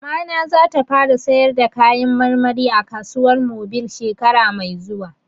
Mamana za ta fara sayar da kayan marmari a kasuwar mobil shekara mai zuwa